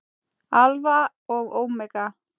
Alfa og ómega.